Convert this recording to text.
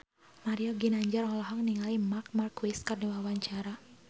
Mario Ginanjar olohok ningali Marc Marquez keur diwawancara